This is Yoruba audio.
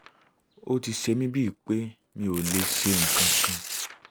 ó ti ṣe mí bíi pé mi ò lè ṣe nǹkan kan